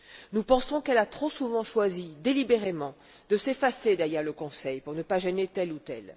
Nous pensons qu'elle a trop souvent choisi délibérément de s'effacer derrière le Conseil, pour ne pas gêner tel ou tel.